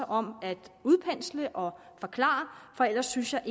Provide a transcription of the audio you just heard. om at udpensle og forklare for ellers synes jeg